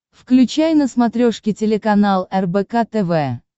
включай на смотрешке телеканал рбк тв